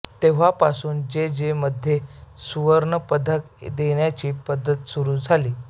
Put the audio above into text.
तेव्हापासून जे जे मध्ये सुवर्णपदक देण्याची पद्धत सुरू झाली